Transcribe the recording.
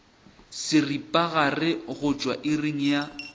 seripagare go tšwa iring ya